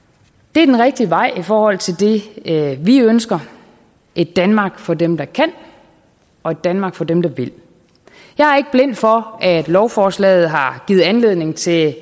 det er den rigtige vej i forhold til det vi ønsker et danmark for dem der kan og et danmark for dem der vil jeg er ikke blind for at lovforslaget har givet anledning til